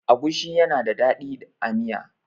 agushi yana da dadi a Miya